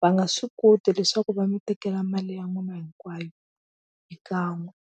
va nga swi koti leswaku va mi tekela mali ya n'wina hinkwayo hi kan'we.